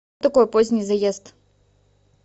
такое поздний заезд